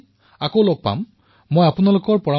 মই আপোনালোকৰ চিন্তাৰ পৰামৰ্শৰ অপেক্ষা কৰিম